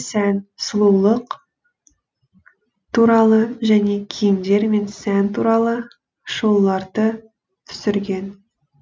сән сұлулық туралы және киімдер мен сән туралы шолуларды түсірген